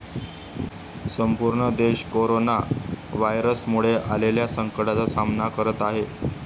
संपूर्ण देश कोरोना व्हायरसमुळे आलेल्या संकटाचा सामना करत आहे.